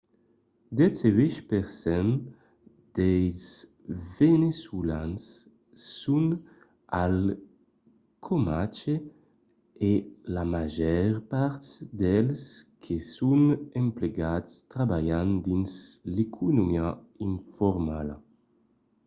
dètz-e-uèch per cent dels veneçolans son al caumatge e la màger part dels que son emplegats trabalhan dins l’economia informala